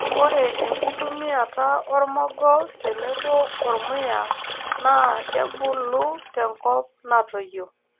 ore enkitumiata ormogo tenebo ormuya naa kebulu te nkop natoyio.